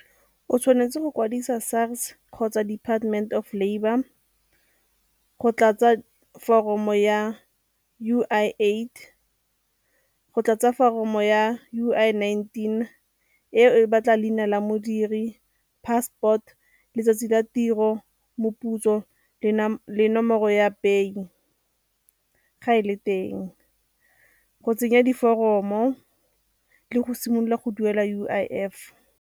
O tshwanetse go kwadisa SARS kgotsa Department of Labour go tlatsa foromo ya U_I Aid, go tlatsa foromo ya U_I nineteen e e batla leina la modiri, passport, letsatsi la tiro, moputso le nomoro ya pay-i ga e le teng, go tsenya diforomo le go simolola go duela U_I_F.